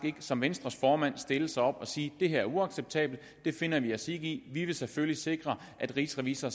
ikke som venstres formand stille sig op og sige det her er uacceptabelt det finder vi os ikke i vi vil selvfølgelig sikre at rigsrevisor